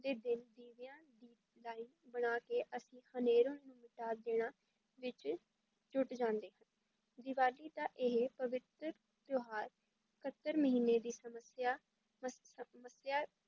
ਦੇ ਦਿਨ ਦੀਵਿਆਂ ਦੀ line ਬਣਾ ਕੇ ਅਸੀਂ ਹਨੇਰਾ ਨੂੰ ਮਿਟਾ ਦੇਣਾ ਵਿੱਚ ਜੁੱਟ ਜਾਂਦੇ ਹਾਂ, ਦੀਵਾਲੀ ਦਾ ਇਹ ਪਵਿੱਤਰ ਤਿਉਹਾਰ ਕੱਤਕ ਮਹੀਨੇ ਦੀ ਸਮੱਸਿਆ ਮਸ~ ਅਹ ਮੱਸਿਆ